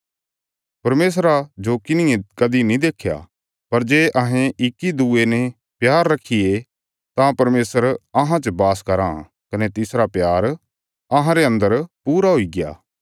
परमेशरा जो किन्हिये कदीं नीं देख्या पर जे अहें इक्की दूये ने प्यार रखिये तां परमेशर अहां च बास कराँ कने तिसरा प्यार अहांरे अन्दर पूरा हुईग्या